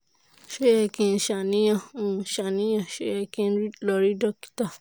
ṣé ó yẹ kí n ṣàníyàn? n ṣàníyàn? ṣé ó yẹ kí n lọ rí dókítà?